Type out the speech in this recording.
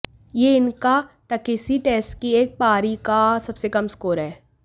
यह इनका टकिसी टेस्ट की एक पारी का सबसे कम स्कोर है